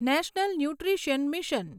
national nutrition mission